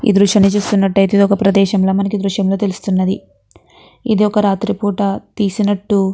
ఈ దృశ్యాన్ని చూస్తున్నట్టాయితే ఇదొక ప్రదేశం లా మనకి ఈ దృశ్యం లో తెలుస్తున్నది. ఇది ఓక రాత్రి పూట తీసినట్టు --